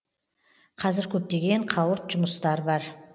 қазір көптеген қауырт жұмыстар бар